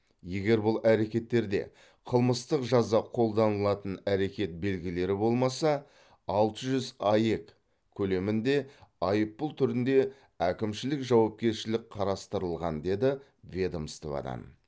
егер бұл әрекеттерде қылмыстық жаза қолданылатын әрекет белгілері болмаса алты жүз аек көлемінде айыппұл түрінде әкімшілік жауапкершілік қарастырылған деді ведомстводан